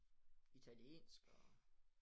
Italiensk og